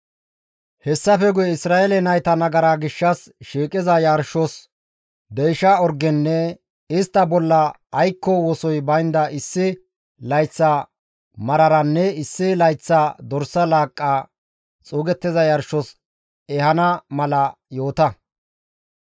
Hessafe guye Isra7eele nayta nagara gishshas shiiqiza yarshos deysha orgenne istta bolla aykko wosoy baynda issi layththa mararanne issi layththa dorsa laaqqa xuugettiza yarshos ehana mala yoota.